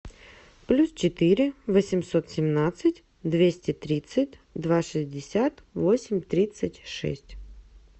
плюс четыре восемьсот семнадцать двести тридцать два шестьдесят восемь тридцать шесть